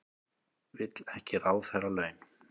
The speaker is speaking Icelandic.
Vill ekki ráðherralaun